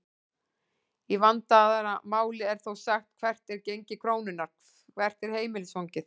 Í vandaðra máli er þó sagt hvert er gengi krónunnar?, hvert er heimilisfangið?